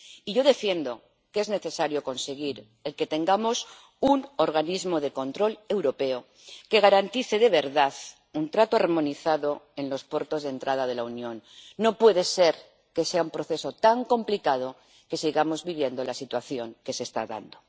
Y yo defiendo que es necesario conseguir que tengamos un organismo de control europeo que garantice, de verdad, un trato armonizado en los puertos de entrada de la Unión no puede ser que sea un proceso tan complicado que sigamos viviendo la situación que se está dando.